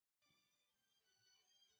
Orò tí o lè jù níyì o.